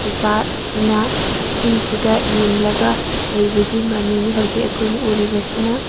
ꯅꯨꯄꯥ ꯑꯁꯤꯅ ꯏꯁꯤꯡ ꯁꯤꯗ ꯌꯦꯡꯂꯒ ꯂꯩꯕꯒꯤ ꯃꯃꯤꯅꯤ ꯍꯧꯖꯤꯛ ꯑꯩꯈꯣꯏꯅ ꯎꯔꯤꯕꯁꯤꯅ꯫